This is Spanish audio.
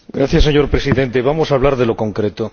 Señor Presidente, vamos a hablar de lo concreto.